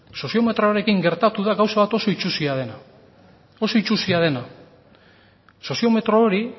soziometroarekin gertatu da gauza bat oso itsusia dena oso itsusia dena soziometro hori